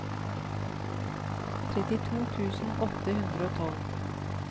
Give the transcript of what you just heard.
trettito tusen åtte hundre og tolv